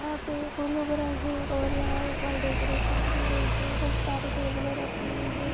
यहा पे फुल उग रहे है और यहाँ पर डेकोरेशन की गयी है खूब सारे टेबले रखी हुयी है।